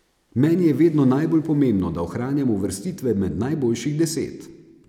Meni je vedno najbolj pomembno, da ohranjamo uvrstitve med najboljših deset.